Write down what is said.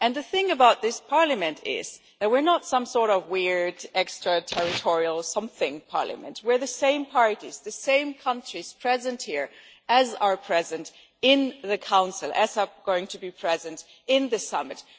The thing about this Parliament is that we are not some sort of weird extra-territorial something parliament, but we are the same parties, the same countries, present here as are present in the Council and as are going to be present at the summit.